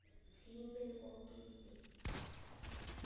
Tíminn og gildin